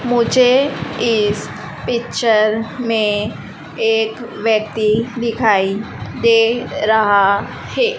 मुझे इस पिक्चर में एक व्यक्ति दिखाई दे रहा है।